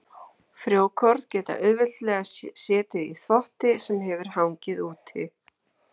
Frjókorn geta auðveldlega setið í þvotti sem hefur hangið úti.